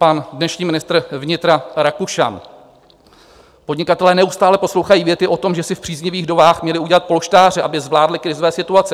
Pan dnešní ministr vnitra Rakušan: "Podnikatelé neustále poslouchají věty o tom, že si v příznivých dobách měli udělat polštáře, aby zvládli krizové situace.